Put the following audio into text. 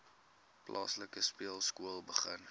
plaaslike speelskool begin